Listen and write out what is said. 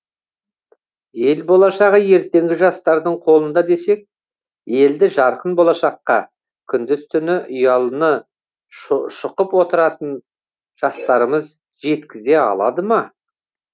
ел болашығы ертеңгі жастардың қолында десек елді жарқын болашаққа күндіз түні ұялыны шұқып отыратын жастарымыз жеткізе алады ма